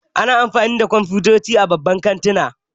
Ana amfani da kwamfutoci a babban kantuna